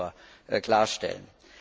Das wollte ich nur klarstellen.